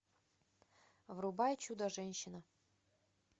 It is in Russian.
врубай чудо женщина